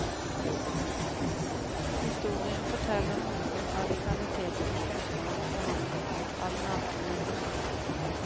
Historien forteller noe om radikaliteten i kunstnerens behandling av den nakne menneskekroppen.